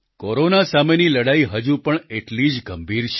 corona સામેની લડાઈ હજુ પણ એટલી જ ગંભીર છે